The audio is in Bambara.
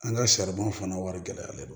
An ka saribɔn fana wari gɛlɛyalen don